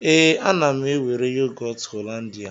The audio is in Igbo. Ee, ana m ewere yogọt Hollandia.